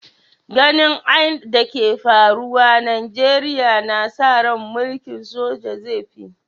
Ganin ain da ke faruwa a'Nijeriya na sa rai mulki'n soja zai fi